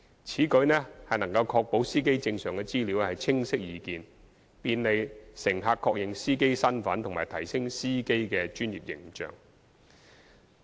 此舉能確保司機證上的資料清晰易見，便利乘客確認司機身份及提升司機的專業形象。